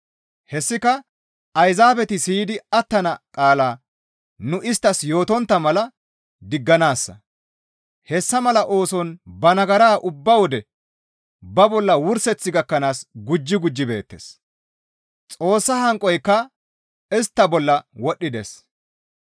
Hessika Ayzaabeti siyidi attana qaala nu isttas yootontta mala digganaassa; hessa mala ooson ba nagara ubba wode ba bolla wurseth gakkanaas gujji gujji beettes; Xoossa hanqoyka istta bolla wodhdhides.